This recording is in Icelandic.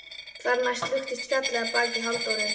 Þar næst luktist fjallið að baki Halldóru.